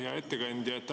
Hea ettekandja!